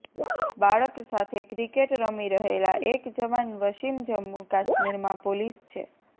બાળક સાથે ક્રિકેટ રમી રહેલા એક જવાન વસીમ જમ્મુ કાશ્મીરમાં પોલીસ છે